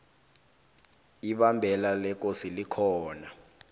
ibambela lekosi likhona